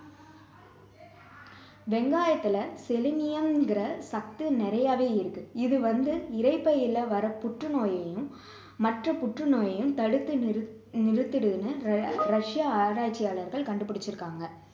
வெங்காயத்துல selenium ங்கிற சத்து நிறையவே இருக்கு இது வந்து இரைப்பையில வர்ற புற்று நோயையும் மற்ற புற்று நோயையும் தடுத்து நிறுத்~ நிறுத்துன்னு ரஷ்ய ஆராய்ச்சியாளர்கள் கண்டுபிடிச்சிருக்காங்க